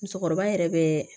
Musokɔrɔba yɛrɛ bɛ